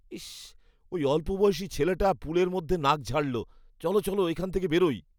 ইস! ওই অল্পবয়সী ছেলেটা পুলের মধ্যে নাক ঝাড়ল। চলো চলো, এখান থেকে বেরোই।